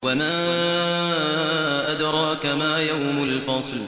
وَمَا أَدْرَاكَ مَا يَوْمُ الْفَصْلِ